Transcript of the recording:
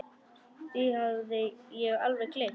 Því hafði ég alveg gleymt.